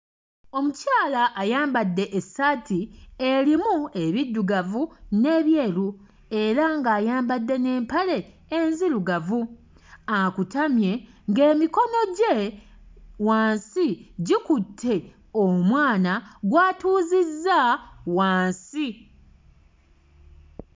Omukyala ayambadde essaati erimu ebiddugavu n'ebyeru era ng'ayambadde n'empale enzirugavu akutamye ng'emikono gye wansi gikutte omwana gw'atuuzizza wansi.